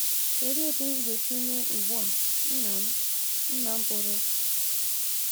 Kedu etu m ga-esi mee ugbua nna m nna m pụrụ